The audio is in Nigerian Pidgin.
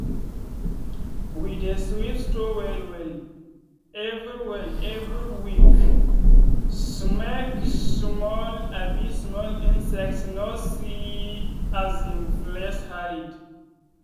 we dey sweep store well well every well every week make small um small insects no see um place hide.